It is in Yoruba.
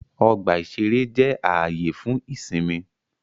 Ọgbà-ìṣeré jẹ́ ààyè fún ìsinmi